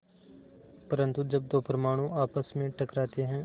परन्तु जब दो परमाणु आपस में टकराते हैं